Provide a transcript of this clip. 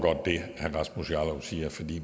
sige at vi